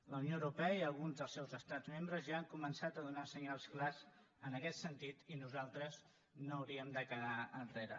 la unió europea i alguns dels seus estats membres ja han començat a donar senyals clars en aquest sentit i nosaltres no hauríem de quedar enrere